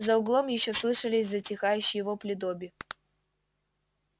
за углом ещё слышались затихающие вопли добби